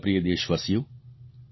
મારા પ્રિય દેશવાસીઓ